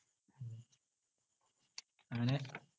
അങ്ങനെ